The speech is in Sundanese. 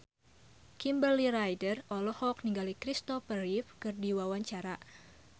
Kimberly Ryder olohok ningali Christopher Reeve keur diwawancara